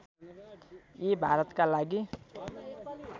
यी भारतका लागि